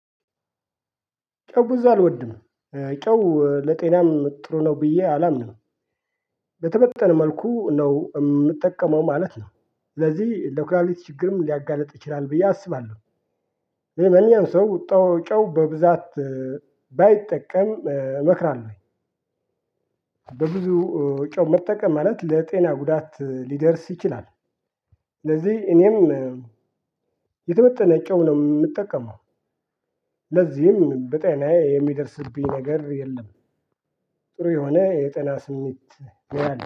ጨው ብዙ አልወድም። ጨው ለጤናም ጥሩ ነው ብዬ አላምንም። በተመጠነ መልኩ ነው የምጠቀመው ማለት ነው። ስለዚህ ለኩላሊቲ ችግርም ሊያጋልጥ ይችላል ብዬ አስባለሁ። ማንኛውም ሰው ጨው በብዛት ባይጠቀም እመክራለሁ። በብዙ ጮህ መጠቀም ማለት ለጤና ጉዳት ሊደርስ ይችላል። ለዚህ እኔም የተመጠነ ጨው ነው የምጠቀመው። ለዚህም በጤናዬ የሚደርስብኝ ነገር የለም። ጥሩ የሆነ የጠና ስሜት